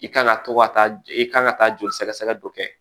I kan ka to ka taa i ka kan ka taa joli sɛgɛsɛgɛ dɔ kɛ